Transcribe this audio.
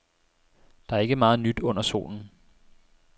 Der er ikke meget nyt under solen.